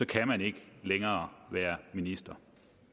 kan man ikke længere være minister